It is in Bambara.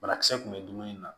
Banakisɛ kun bɛ dumuni na